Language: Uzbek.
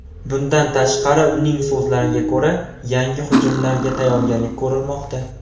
Bundan tashqari, uning so‘zlariga ko‘ra, yangi hujumlarga tayyorgarlik ko‘rilmoqda.